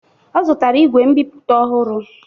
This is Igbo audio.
Ọ zutara igwe mbiputa ohụrụ